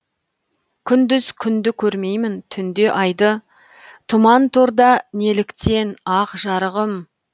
күндіз күнді көрмеймін түнде айды тұман торда неліктен ақ жарығым